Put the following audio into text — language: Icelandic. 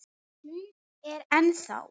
Hún er ennþá.